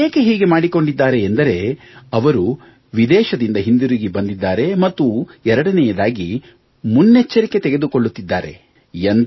ಅವರು ಏಕೆ ಹೀಗೆ ಮಾಡಿಕೊಂಡಿದ್ದಾರೆ ಎಂದರೆ ಅವರು ವಿದೇಶದಿಂದ ಹಿಂತಿರುಗಿ ಬಂದಿದ್ದಾರೆ ಮತ್ತು ಎರಡನೆಯದಾಗಿ ಮುನ್ನೆಚ್ಚರಿಕೆ ತೆಗೆದುಕೊಳ್ಳುತ್ತಿದ್ದಾರೆ